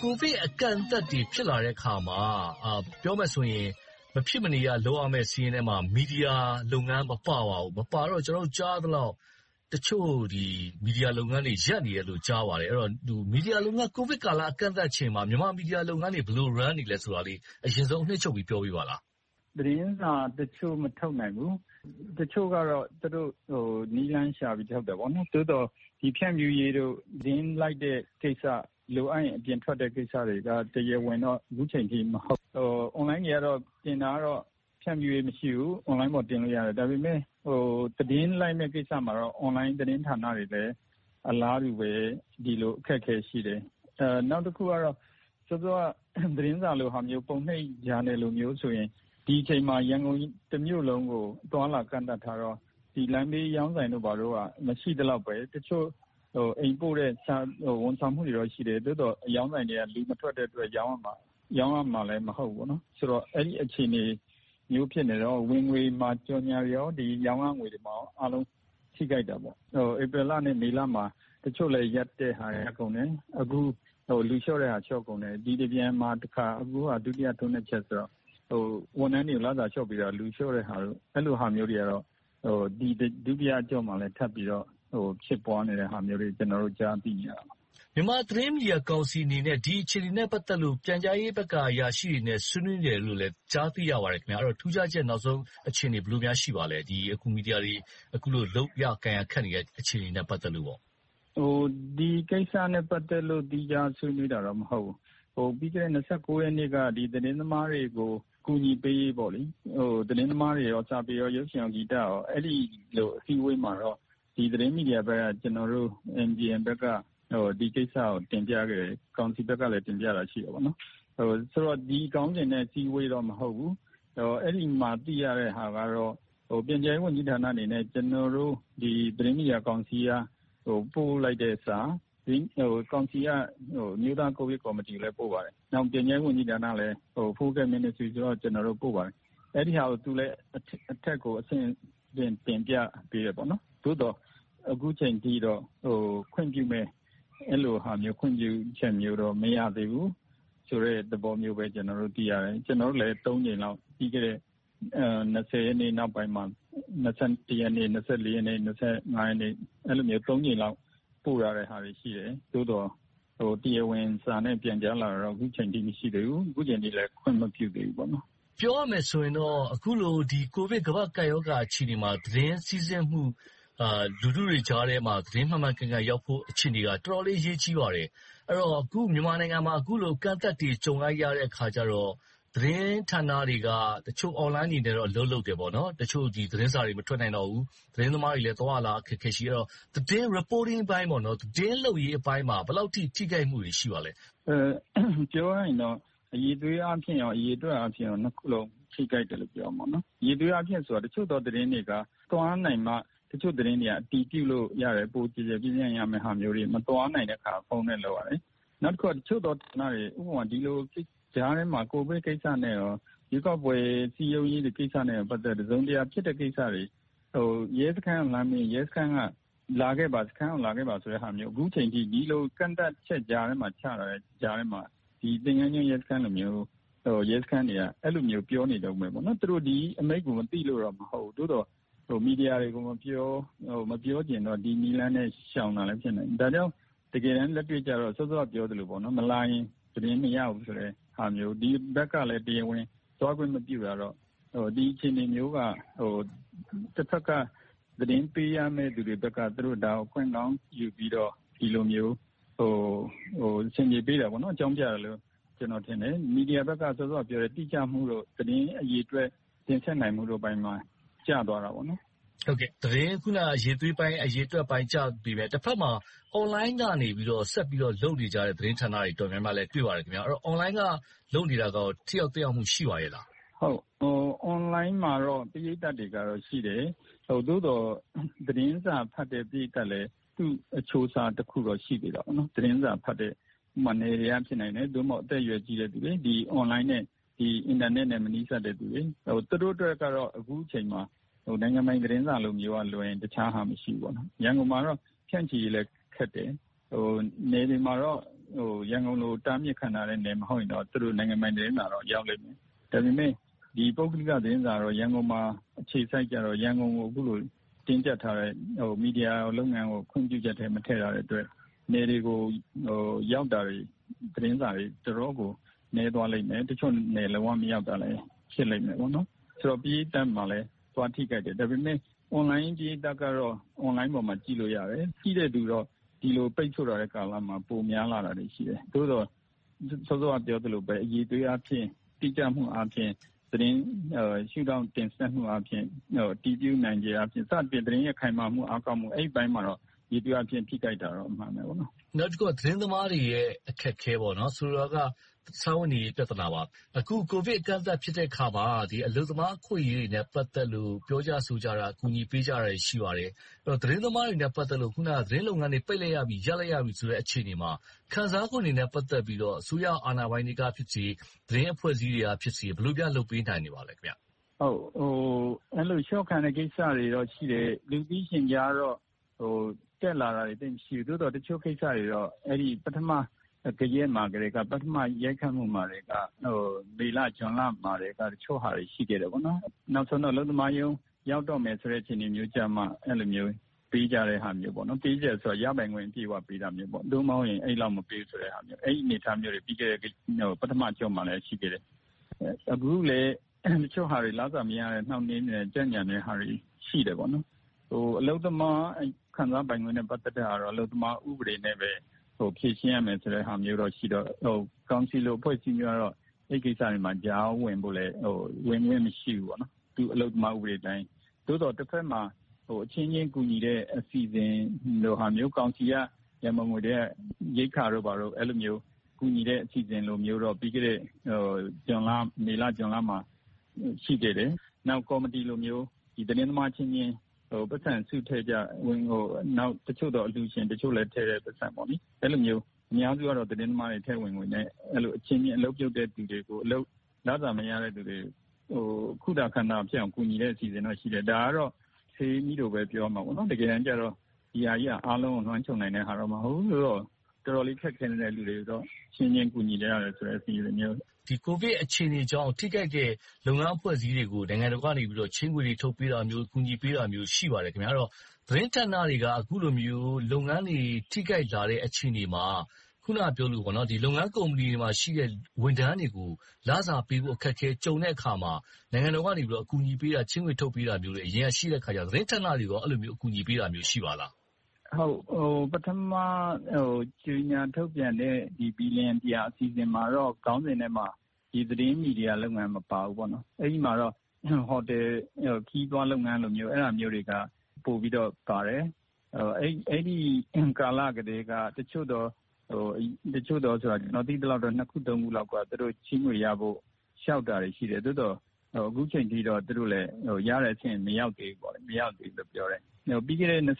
ကိုဗစ်အကန့်အသတ်တွေ ဖြစ်လာတဲ့အခါမှာ ပြောမယ်ဆိုရင် မဖြစ်မနေ လုပ်ရမယ့်စာရင်းထဲမှာ မီဒီယာလုပ်ငန်း မပါပါဘူး။ မပါတော့ ကျနော်တို့ ကြားရသလောက်တော့ တချို့မီဒီယာလုပ်ငန်းတွေ ရပ်နေတယ်လို့ ကြားပါတယ်။ ကိုဗစ်ကာလ အကန့်အသတ်ချက်ကြောင့် မြန်မာမီဒီယာလုပ်ငန်းတွေက ဘယ်လိုလုပ်ကိုင်နေတယ်ဆိုတာကို အရင်ဆုံးအနှစ်ချုပ်ပြီး ပြောပေးပါလား။ သတင်းစာတချို့ မထုတ်နိုင်ဘူး။ တချို့ကတော့ နည်းလမ်းရှာပြီးတော့ ထုတ်တယ်။ သို့သော် ဖြန့်ဖြူးရေးတို့၊ သတင်းလိုက်တဲ့ကိစ္စ၊ လိုအပ်ရင် အပြင်ထွက်တဲ့ကိစ္စတွေက တရားဝင်တော့ အခုအချိန်အထိ မလုပ်နိုင်သေးဘူး။ Online တွေကတော့ တင်တာကတော့ ဖြန့်ဖြူးရေး မရှိဘူး။ Online ပေါ် တင်လို့ရတယ်။ ဒါပေမဲ့ သတင်းလိုက်မယ့်ကိစ္စမှာတော့ Online သတင်းဌာနတွေလည်း အလားတူပဲ ဒီလိုအခက်အခဲ ရှိတယ်။ နောက်တစ်ခုကတော့ စောစောက သတင်းစာလိုဟာမျိုး၊ ပုံနှိပ်ဂျာနယ်လုပ်ငန်းတွေဆိုရင် ဒီအချိန်မှာ ရန်ကုန်တမြို့လုံးကို အသွားအလာ ကန့်သတ်ထားတော့ လမ်းဘေးအရောင်းဆိုင်တို့ဘာတို့က မရှိသလောက်ပဲ။ တချို့အိမ်ပို့တဲ့ ဝန်ဆောင်မှုတွေတော့ ရှိတယ်။ သို့သော် အရောင်းဆိုင်တွေက လူမထွက်တဲ့အတွက် ရောင်းရမှာလဲ မဟုတ်ဘူး။ ဆိုတော့ အဲဒီလို အခြေအနေမျိုး ဖြစ်နေတော့ ဝင်ငွေမှာ ကြော်ငြာနဲ့ ရောင်းရငွေတွေမှာ အားလုံးထိခိုက်တယ်။ ဧပြီလနဲ့ မေလမှာ တချို့လည်း ရပ်တဲ့ဟာတွေ ရှိတယ်။ အခုလဲ လူလျှော့တဲ့ဟာတွေ လျှော့ကုန်တယ်။ ဒီတပြန်မှာ အခုတစ်ခါ ဒုတိယထိုးနှက်ချက်ဆိုတော့ ဝန်ထမ်းတွေ လစာလျှော့ပေးတာ၊ လူလျှော့တဲ့ဟာတို့ အဲဒီလိုဟာမျိုးတွေကတော့ ဒုတိယအကြော့မှာ ထပ်ပြီးတော့ ဖြစ်ပွားနေတဲ့ဟာမျိုးတွေကို ကျနော်တို့ ကြားသိနေရပါတယ်။ မြန်မာသတင်းမီဒီယာကောင်စီအနေနဲ့ ဒီအခြေအနေနဲ့ ပတ်သက်လို့ ပြန်ကြားရေးဝန်ကြီးဌာနက အရာရှိတွေနဲ့ ဆွေးနွေးတယ်လို့လဲ ကြားသိရပါတယ်။ အဲဒီထူးခြားချက် နောက်ဆုံးအခြေအနေ ဘယ်လိုရှိပါသလဲ။ အခု မီဒီယာတွေ အခုလို လုပ်ရကိုင်ရ ခက်နေတဲ့ အခြေအနေနဲ့ ပတ်သက်လို့ပါ။ ဒီကိစ္စနဲ့ ပတ်သက်လို့တော့ သီးခြားဆွေးနွေးတာ မဟုတ်ဘူး။ ပြီးခဲ့တဲ့ ရက်နေ့က သတင်းသမားတွေကို အကူအညီပေးရေး၊ သတင်းသမား၊ စာပေ၊ ရုပ်ရှင်၊ ဂီတ အစည်းအဝေးမှာတော့ သတင်းမီဒီယာဘက်က ကျနော်တို့ ဒီကိစ္စကို တင်ပြခဲ့တယ်။ ကောင်စီဘက်ကလဲ တင်ပြတာ ရှိခဲ့တယ်။ ဒီခေါင်းစဉ်နဲ့ အစည်းအဝေးတော့ မဟုတ်ဘူး။ အဲဒီမှာ သိရတဲ့ဟာကတော့ ပြန်ကြားရေးဝန်ကြီးဌာနအနေနဲ့ ကျနော်တို့ သတင်းမီဒီယာကောင်စီက ပို့လိုက်တဲ့စာ၊ ကောင်စီက အမျိုးသားကိုဗစ်ကော်မတီကိုလည်း ပို့ပါတယ်။ ပြန်ကြားရေးဝန်ကြီးဌာနလည်း Focal Ministry ဆိုတော့ ကျနော်တို့ ပို့ခဲ့ပါတယ်။ အဲဒါကို သူတို့လည်း အထက်ကို အဆင့်ဆင့် တင်ပြပေးပါတယ်။ သို့သော်လဲ အခုအချိန်အထိတော့ ခွင့်ပြုမယ့်ဟာမျိုး၊ ခွင့်ပြုချက်တော့ မရသေးဘူးဆိုတဲ့ သဘောမျိုးပဲ ကျနော်တို့ သိရတယ်။ ကျနော်တို့လည်း သုံးကြိမ်လောက် ပြီးခဲ့တဲ့ ရက်နေ့ နောက်ပိုင်းမှာ ရက်နေ့၊ ရက်နေ့၊ ရက်နေ့ ကြိမ်လောက် ပို့ထားတာတွေ ရှိတယ်။ သို့သော် တရားဝင်စာနဲ့ ပြန်ကြားလာတာတော့ အခုအချိန်အထိ မရှိသေးပါဘူး။ အခုအချိန်အထိလဲ ခွင့်မပြုသေးဘူး။ ပြောရမယ်ဆိုရင်တော့ အခုလို ကိုဗစ်ကမ္ဘာ့ကပ်ရောဂါ အခြေအနေမှာ သတင်းစီးဆင်းမှုက လူထုတွေကြားထဲမှာ သတင်းမှန်မှန်ကန်ကန်ရောက်ဖို့ အခြေအနေဟာ တော်တော်လေး အရေးကြီးပါတယ်။ အဲဒီတော့ အခုမြန်မာနိုင်ငံမှာ အခုလို အကန့်အသတ်တွေကြုံနေရတဲ့ အခါကြတော့ သတင်းဌာနတွေက တချို့အွန်လိုင်းတွေနဲ့တော့ အလုပ်လုပ်နေတယ်။ တချို့သတင်းစာတွေ မထွက်နိုင်တော့ဘူး။ သတင်းသမားတွေလည်း သွားရလာရ အခက်အခဲ ရှိနေတော့ သတင်း reporting အပိုင်း၊ သတင်းလုပ်ရေးအပိုင်းမှာ ဘယ်လောက်အထိ ထိခိုက်မှုတွေ ရှိပါသလဲ။ ပြောရရင်တော့ အရည်အသွေးအားဖြင်ကော၊ အရေအတွက်အားဖြင့်ကော နှစ်ခုစလုံး ထိခိုက်တယ်လို့ ပြောရမှာပေါ့။ အရည်အသွေးအားဖြင့်လို့ ပြောရတာက တချို့သောသတင်းတွေက သွားနိုင်မှ တချို့သတင်းတွေက အတည်ပြုလို့ရမယ်။ ပိုကျယ်ကျယ်ပြန့်ပြန့်ရမယ့်ဟာမျိုးတွေ မသွားနိုင်တဲ့အခါ ဖုန်းနဲ့လုပ်ရတယ်။ နောက်တစ်ခုက အချို့သောကဏ္ဍတွေ ဒီလိုကြားထဲမှာ ကိုဗစ်ကိစ္စနဲ့ ရွေးကောက်ပွဲ စည်းရုံးရေးတွေ ကိစ္စတွေနဲ့ ပတ်သက်လို့ တစုံတရာ ဖြစ်တဲ့ကိစ္စတွေ၊ ရဲစခန်းကိုမေးရင် ရဲစခန်းကလာခဲ့ပါဆိုတဲ့ဟာမျိုး - ဒီလိုကန့်သတ်ချက်ကြားထဲမှာ သင်္ဃန်ကျွန်းရဲစခန်းလိုဟာမျိုး အဲဒီလိုမျိုး ပြောနေတုန်းပါ။ သူတို့ ဒီအမိန့်ကို မသိလို့တော့ မဟုတ်ဘူး။ သို့သော် မီဒီယာတွေကို မပြောချင်တော့ ဒီနည်းလမ်းနဲ့ ရှောင်တာလည်း ဖြစ်နိုင်တယ်။ ဒါလဲ တကယ်တမ်း လက်တွေ့ကြတော့ စောစောက ပြောသလို မလာရင် သတင်းမရဘူးဆိုတဲ့ဟာမျိုး၊ ဒီဘက်ကလဲ တရားဝင်သွားခွင့်မပြုထားတော့ ဒီအခြေအနေမျိုးက တဘက်က သတင်းပေးရမယ့်လူတွေဘက်က ဒါကို အခွင့်ကောင်းယူပြီးတော့ ဒီလိုမျိုး ဆင်ခြင်ပေးတာပေါ့။ အကြောင်းပြတာက - မီဒီယာဘက်ကပြောတယ်၊ တိကျမှုတို့၊ သတင်းအရေအတွက် တင်ဆက်နိုင်ဘက်အပိုင်းမှာ ကျသွားတာပေါ့။ အခုနပြောတဲ့ သတင်းအရေအတွက်ပိုင်း၊ အရည်အသွေးပိုင်း ကျပြီးတော့ တဘက်မှာ Online ကနေ ဆက်ပြီးတော့ လုပ်နေကြတဲ့ သတင်းဌာနတွေ အတော်များများကိုလည်း တွေ့ပါတယ်။ ဆိုတော့ Online က လုပ်နေတာ ထိရောက်သက်ရောက်မှု ရှိပါသလား။ Online မှာတော့ ပရိသတ်တွေကတော့ ရှိပါတယ်။ သို့သော် သတင်းစာဖတ်တဲ့ ပရိသတ်လည်း သူ့အချိုးအစားတစ်ခုတော့ ရှိနေတာပေါ့။ သတင်းစာဖတ်တဲ့ - ဥပမာ နယ်တွေက ဖြစ်နိုင်တယ်။ ဒါမှမဟုတ် အသက်အရွယ်ကြီးတော့ ဒီဘက် Online နဲ့ အင်တာနက်နဲ့ မနီးစပ်တဲ့လူတွေ။ သူတို့အတွက်ကတော့ အခုအချိန်မှာ နိုင်ငံပိုင်သတင်းစာမျိုးကလွဲရင် တခြားဟာ မရှိဘူး။ ရန်ကုန်မှာလဲ ဖြန့်ချီရေးလည်း ခက်တယ်။ နယ်တွေမှာတော့ ရန်ကုန်လိုတော့ တားမြစ်ခံထားရတဲ့ နယ်မဟုတ်ရင်တော့ သူတို့နိုင်ငံပိုင်သတင်းစာတော့ ရောက်လိမ့်မယ်။ ဒါပေမဲ့ ပုဂ္ဂလိကသတင်းစာကတော့ ရန်ကုန်မှာ အခြေစိုက်ကြတော့ ရန်ကုန်ကို အခုလို တင်းကြပ်ထားတယ်။ မီဒီယာလုပ်ငန်းကို ခွင့်ပြုချက်ထဲ မထည့်ထားတဲ့အတွက် နယ်တွေကို ရောက်တာတွေ၊ သတင်းစာတွေ တော်တော်ကို နည်းသွားလိမ့်မယ်။ တချို့နယ်တွေ မရောက်တာလဲ ဖြစ်လိမ့်မယ်။ ပရိသတ်မှာလဲ သွားထိခိုက်တယ်။ ဒါပေမဲ့ Online ပရိသတ်ကတော့ အွန်လိုင်းပေါ်မှာ ကြည့်လို့ရတယ်။ ကြည့်တဲ့သူတော့ ဒီလိုပိတ်စို့ထားတဲ့ ကာလမှာ ပိုများလာတာတွေ ရှိတယ်။ သို့သော် စောစောကပြောသလိုပဲ အရည်အသွေးအားဖြင့်၊ တိကျမှုအားဖြင့်၊ သတင်းရှုထောင့်တင်ဆက်မှုအားဖြင့်၊ အတည်ပြုနိုင်ခြင်း စသည်ဖြင့် သတင်းခိုင်မာမှု၊ အားကောင်းမှု အဲဒီပိုင်းမှာတော့ ယေဘုယျအားဖြင့် ထိခိုက်တာတော့ အမှန်ပါပဲ။ နောက်တစ်ခုက သတင်းသမားတွေရဲ့ အခက်အခဲ။ ဆိုလိုတာက စားဝတ်နေရေး ပြဿနာပါ။ အခု ကိုဗစ်အကန့်အသတ်ဖြစ်တဲ့အခါမှာ အလုပ်သမား အခွင့်အရေးတွေနဲ့ ပတ်သက်လို့၊ ပြောကြဆိုကြတာ အကူအညီပေးကြတာတွေ ရှိပါတယ်။ သတင်းသမားတွေနဲ့ ပတ်သက်လို့ အခုနပြောသလို သတင်းလုပ်ငန်းတွေ ပိတ်လိုက်ရပြီ၊ ရပ်လိုက်ရပြီဆိုတဲ့ အခြေအနေမှာ ခံစားခွင့်တွေနဲ့ ပတ်သက်ပြီးတော့ အစိုးရအာဏာပိုင်တွေကဖြစ်စေ၊ သတင်းအဖွဲ့အစည်းတွေကဖြစ်စေ၊ ဘယ်လိုများ လုပ်ပေးနိုင်ပါသလဲ။ အဲဒီလို အလျှော့ခံရတဲ့ ကိစ္စတွေတော့ ရှိတယ်။ လူသိရှင်ကြားတော့ တက်လာတာတွေ သိပ်မရှိဘူး။ သို့သော် တချို့ကိစ္စတွေတော့ ပထမဂယက်မှာကတည်းက ပထမရိုက်ခတ်မှုကတည်းက မေလ၊ ဇွန်လကတည်းက တချို့ဟာတွေ ရှိခဲ့တယ်။ နောက်ဆုံးတော့ အလုပ်သမားရုံးရောက်တော့မယ် အခြေအနေမျိုးရောက်မှ ကူညီပေးကြတဲ့ဟာမျိုး၊ ပေးတဲ့ဆိုတာ ရပိုင်ခွင့် အပြည့်အဝပေးတာမျိုး မဟုတ်ဘူး။ အဲဒီလိုအနေအထားမျိုးတွေ ပထမအကျော့မှာလဲ ရှိခဲ့တယ်။ အခုလဲ တချို့ဟာတွေ လစာမရနေတာတွေ၊ နှောင့်နှေးကြန့်ကြာနေတာတွေ ရှိတယ်။ အလုပ်သမားခံစားပိုင်ခွင့်နဲ့ ပတ်သက်တာတော့ အလုပ်သမားဥပဒေနဲ့ပဲ ဖြေရှင်းရမယ့်ဟာမျိုးတော့ ရှိတော့ ကောင်စီလို အဖွဲ့အစည်းမျိုးကတော့ အဲဒီကိစ္စတွေမှာ ကြားဝင်ဖို့လဲ ဝင်ခွင့်မရှိဘူး။ သူ့အလုပ်သမား ဥပဒေအတိုင်း။ သို့သော် တဘက်မှာ အချင်းချင်းကူညီတဲ့ အစီအစဉ်လိုဟာမျိုး ကောင်စီရဲ့ ရန်ပုံငွေထဲက ရိက္ခာတို့ဘာတို့ အဲဒီလိုဟာမျိုး ကူညီတဲ့ အစီအစဉ်လိုမျိုးတော့ ပြီးခဲ့တဲ့ မေလ၊ ဇွန်လမှာ ရှိခဲ့တယ်။ နောက် ကော်မတီလိုမျိုး သတင်းသမားအချင်းချင်း ပိုက်ဆံစုထည့်ကြ၊ နောက် တချို့သော အလှူရှင်တွေထည့်တဲ့ ပိုက်ဆံ၊ အများစုကတော့ သတင်းသမားတွေ ထည့်ဝင်တဲ့ငွေနဲ့ အချင်းချင်း အလုပ်ပြုတ်တဲ့လူတွေ၊ လစာမရတဲ့လူတွေကို ကူညီတဲ့အစီအစဉ်တော့ ရှိတယ်။ ဒါကတော့ ဆေးမြီးတိုလို့ပဲ ပြောရမှာပေါ့။ တကယ်တမ်းကြတော့ ဒီဟာကြီးက အားလုံးကိုတော့ ဝိုင်းခြုံနိုင်တဲ့အရာတော့ မဟုတ်ဘူး။ တော်တော်လေး ခက်ခဲတဲ့လူတွေကိုတော့ အချင်းချင်းကူညီကြတဲ့ဆိုတဲ့ အစီအစဉ်နဲ့ လုပ်ကြတယ်။ ကိုဗစ်အခြေအနေကြောင့် ထိခိုက်တဲ့ လုပ်ငန်းအဖွဲ့အစည်းတွေကို နိုင်ငံတော်ကနေ ချေးငွေတွေ ထုတ်ပေးတာမျိုး၊ ကူညီပေးတာမျိုး ရှိပါတယ်။ အဲဒီတော့ သတင်းဌာနတွေက အခုလိုမျိုး လုပ်ငန်းတွေ ထိခိုက်လာတဲ့ အခြေအနေမှာ အခုနပြောသလို လုပ်ငန်းကုမ္ပဏီတွေမှာရှိတဲ့ ဝန်ထမ်းတွေကို လစာပေးဖို့ အခက်အခဲ ကြုံတဲ့အခါမှာ နိုင်ငံတော်က အကူအညီပေးတာ၊ ချေးငွေထုတ်ပေးတာမျိုးတွေ အရင်ကရှိခဲ့တော့ သတင်းဌာနတွေကော အဲဒီလိုမျိုး အကူအညီပေးတာ ရှိပါသလား။ ပထမကြေညာထုတ်ပြန်တဲ့ ဘီလီယံတစ်ရာ အစီအစဉ်မှာတော့ ခေါင်းစဉ်ထဲမှာ သတင်းမီဒီယာလုပ်ငန်း မပါဘူး။ အဲဒီမှာတော့ ဟိုတယ်ခရီးသွားလုပ်ငန်းမျိုး၊ အဲဒါမျိုးတွေက ပိုပြီးတော့ပါတယ်။ အဲဒီကာလကတည်းက တချို့သော - ကျနော် သိသလောက်တော့ နှစ်ခု၊ သုံးခုလောက်ကတော့ ချေးငွေရဖို့ လျှောက်တာတွေရှိတယ်။ သို့သော် အခုအချိန်ထိ သူတို့လဲတဲ့အဆင့် မရောက်သေးဘူး။ မရသေးဘူးလို့ ပြောတယ်။ ပြီးခဲ့တဲ့ ရက်နေ့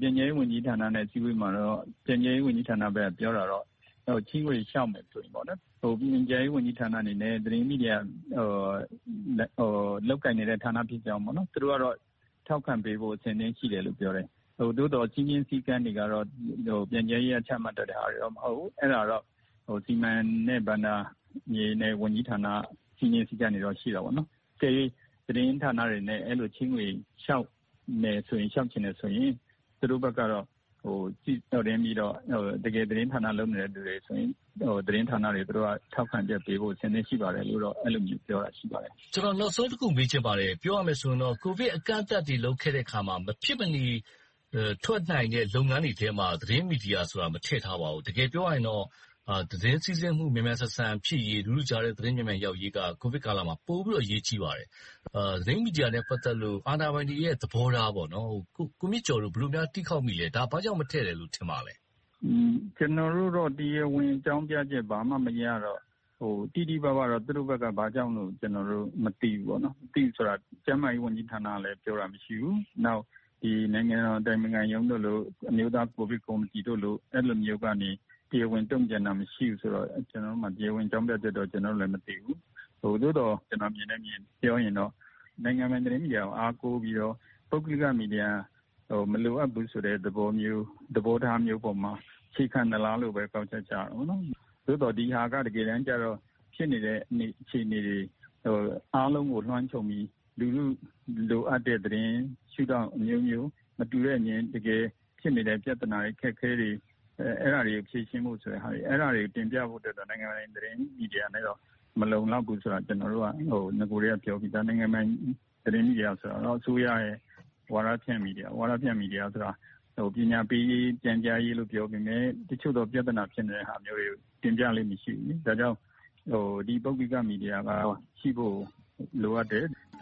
ပြန်ကြားရေးဝန်ကြီးဌာနနဲ့ အစည်းအဝေးမှာတော့ ပြန်ကြားရေးဝန်ကြီးဌာနဘက်က ပြောတာတော့ ချေးငွေလျှောက်မယ်ဆိုရင်တော့ ဝန်ကြီးဌာနအနေနဲ့ သတင်းမီဒီယာ လုပ်ကိုင်နေတဲ့ဌာနဖြစ်ကြောင်း သူတို့ကတော့ ထောက်ခံပေးဖို့ အဆင်သင့်ရှိတယ်လို့ ပြောတယ်။ သို့သော် စည်းမျဉ်းစည်းကမ်းတွေကတော့ ပြန်ကြားရေးက ချမှတ်ထားတာတွေတော့ မဟုတ်ဘူး။ အဲဒါကိုတော့ စီမံနဲ့ဘဏ္ဍာဝန်ကြီးဌာနက စည်းမျဉ်းစည်းကမ်းတွေတော့ ရှိတယ်။ အကယ်၍ သတင်းဌာနတွေအနေနဲ့ အဲဒီလို ချေးငွေလျှောက်မယ်ဆိုရင် သူတို့ဘက်ကတော့ တကယ်သတင်းဌာနလုပ်နေသူတွေကို ထောက်ခံချက်ပေးဖို့ အဆင်သင့် ရှိပါတယ်လို့တော့ အဲဒီလိုမျိုး ပြောတာရှိပါတယ်။ ကျနော် နောက်ဆုံးတစ်ခုမေးချင်ပါတယ်။ ပြောရမယ်ဆိုရင်တော့ ကိုဗစ်အကန့်အသတ်တွေ လုပ်ခဲ့တဲ့အခါမှာ မဖြစ်မနေ ထွက်နိုင်တဲ့ လုပ်ငန်းတွေထဲမှာ သတင်းမီဒီယာဆိုတာ မထည့်ထားပါဘူး။ တကယ်ပြောရရင်တော့ သတင်းစီးဆင်းမှု မြန်မြန်ဆန်ဆန်ဖြစ်ရေး၊ လူထုကြားထဲ သတင်းမှန်ရောက်ရေးက ကိုဗစ်ကာလမှာ ပိုပြီးတော့ အရေးကြီးပါတယ်။ သတင်းမီဒီယာနဲ့ ပတ်သက်လို့ အာဏာပိုင်တွေရဲ့ သဘောထားကို ကိုမြင့်ကျော်တို့ ဘယ်လိုများ တီးခေါက်မိသလဲ။ ဒါဘာကြောင့် မထည့်တာလို့ ထင်ပါသလဲ။ ကျနော်တို့တော့ တရားဝင်ဘာမှ အကြောင်းကြားချက် ဘာမှမရတော့ တိတိပပတော့ သူတို့ဘက်က ဘာကြောင့်လို့လဲတော့ မသိဘူး။ မသိဘူးဆိုတာ ကျန်းမာရေးဝန်ကြီးဌာနကလည်း ပြောတာမရှိဘူး။ နောက် နိုင်ငံတော်အတိုင်ပင်ခံရုံး၊ အမျိုးသားကိုဗစ်ကော်မတီတို့ကနေ တရားဝင်တုံ့ပြန်တာ မရှိဘူးဆိုတော့ ကျနော်တို့ဆီမှာ တရားဝင်အကြောင်းပြချက်တော့ မသိဘူး။ သို့သော် ကျနော်မြင်တဲ့အမြင်ကိုပြောရရင် နိုင်ငံပိုင်သတင်းမီဒီယာကို အားကိုးပြီးတော့ ပုဂ္ဂလိကမီဒီယာကို မလိုအပ်ဘူးဆိုတဲ့ သဘောထားမျိုးပေါ်မှာ အခြေခံသလားဆိုတဲ့အပေါ် ကောက်ချက်ချရတယ်။ သို့သော် ဒီဟာက တကယ်တမ်းကြတော့ ဖြစ်နေတဲ့ အခြေအနေတွေအားလုံးကို လွှမ်းခြုံပြီး လူထုလိုအပ်တဲ့သတင်း၊ ရှုထောင့်အမျိုးမျိုး၊ မတူတဲ့အမြင်၊ တကယ်ဖြစ်နေတဲ့ ပြဿနာတွေ၊ အခက်အခဲတွေကို ဖြေရှင်းဖို့ဆိုရင် အဲဒါတွေကို တင်ပြဖို့ဆိုရင် နိုင်ငံတော်ပိုင် သတင်းမီဒီယာနဲ့တော့ မလုံလောက်ဘူးဆိုတာကို ကျနော်တို့က နဂိုကတည်းက ပြောပြီသား။ နိုင်ငံတော်ပိုင် သတင်းမီဒီယာဆိုတာ အစိုးရရဲ့ ဝါဒဖြန့်မီဒီယာ၊ ဝါဒါဖြန့်မီဒီယာဆိုတာ ပညာပေးရေး၊ ပြန်ကြားရေးလို့ ပြောပေမယ့် တချို့ဖြစ်နေတဲ့ ပြဿနာတွေကို တင်ပြလေ့မရှိဘူး။ ဒါကြောင့်မို့ ဒီ ပုဂ္ဂလိကမီဒီယာ ရှိဖို့လိုအပ်တယ်။